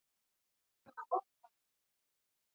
Við reyndum að forðast hvor annan og okkur tókst það ágætlega.